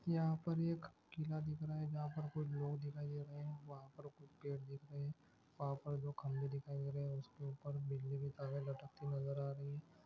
यहां पर एक किला दिख रहा है जहां पर कुछ लोग दिखाई दे रहे है वह पर कुछ पेड़ दिख रहा है वह पर दो खंभे दिख रहा हे वह पे बिजली की तारे लटकती नजर आ रही हे।